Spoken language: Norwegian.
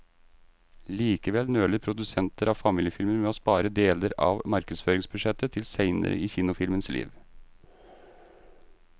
Likevel nøler produsenter av familiefilmer med å spare deler av markedsføringsbudsjettet til senere i kinofilmens liv.